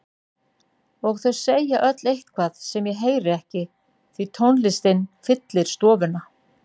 Og þau segja öll eitthvað sem ég heyri ekki því tónlistin fyllir stofuna.